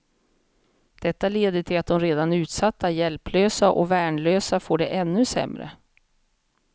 Detta leder till att de redan utsatta, hjälplösa och värnlösa får det ännu sämre.